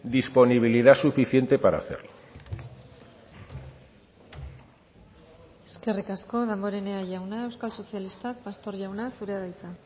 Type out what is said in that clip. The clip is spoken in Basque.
disponibilidad suficiente para hacerlo eskerrik asko damborenea jauna euskal sozialistak pastor jauna zurea da hitza